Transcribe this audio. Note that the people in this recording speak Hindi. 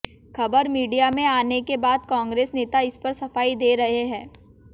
खबर मीडिया में आने के बाद कांग्रेस नेता इस पर सफाई दे रहे हैं